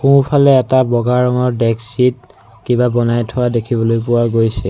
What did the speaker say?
সোঁফালে এটা বগা ৰঙৰ ডেক্সীত কিবা বনাই থোৱা দেখিবলৈ পোৱা গৈছে।